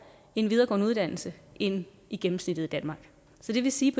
en videregående uddannelse end gennemsnittet i danmark så det vil sige